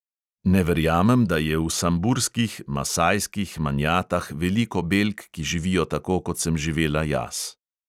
Ne verjamem, da je v samburskih, masajskih manjatah veliko belk, ki živijo tako, kot sem živela jaz.